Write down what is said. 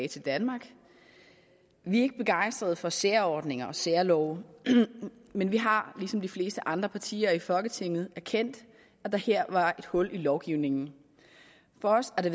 til danmark vi er ikke begejstrede for særordninger og særlove men vi har ligesom de fleste andre partier i folketinget erkendt at der her var et hul i lovgivningen for os har det